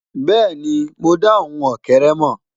bẹẹni, mo da ohùn ókéré mọ.